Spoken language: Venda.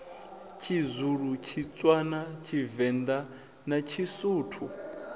tshizulu tshitswana tshivenḓa na tshisuthu